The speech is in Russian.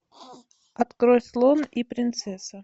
открой слон и принцесса